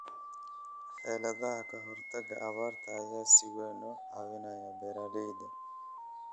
Xeeladaha ka hortagga abaarta ayaa si weyn u caawinaya beeralayda.